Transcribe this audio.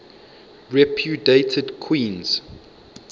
repudiated queens